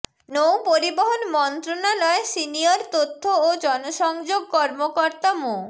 নৌ পরিবহণ মন্ত্রণালয় সিনিয়র তথ্য ও জনসংযোগ কর্মকর্তা মো